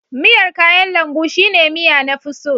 miyar kayan lambu shine miya na fi so